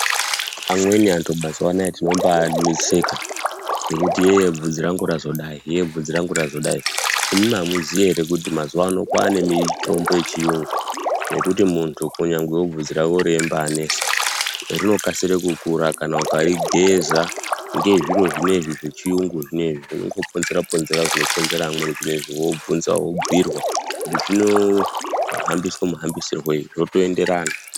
Amweni antu mazuwa anaaya tino mbaanetseka ngekuti yee bvudzi rangu razodai yee mvudzi rangu razodai. Imwimwi amuziyi ere kuti mazuwa ano kwaane mitombo yechiyungu yekuti muntu kunyangwe bvudzi rako reimbaanesa rinokasire kukura kana ukarigeza ngezviro zveneizvi zvechiyungu zvineizvi zvinon goponzera ponzerawo zvinoponzera amweni wobvinzawo wobhiirwa kutizvino hambiswe muhambisire zvoto enderana.